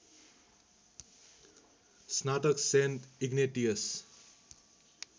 स्नातक saint Ignatius